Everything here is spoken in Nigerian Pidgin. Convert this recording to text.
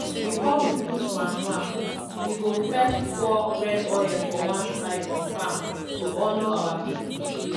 before we put manure we go first pour red for one side of farm to honour our people spirit.